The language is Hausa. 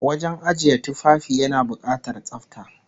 Wajen ajiye tufafi yana bukatar tsafta